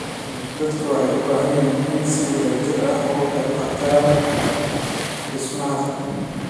Dadku waxay u baahdeen inay si wada jir ah uga qayb qaataan dhismaha qaranka.